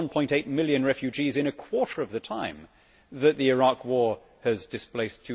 1.8 million refugees in a quarter of the time that the Iraq war has displaced